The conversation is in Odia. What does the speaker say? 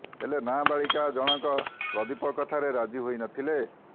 ହେଲେ ନାବାଳିକା ଜଣଙ୍କ ପ୍ରଦୀପ କଥାରେ ରାଜି ହୋଇ ନଥିଲେ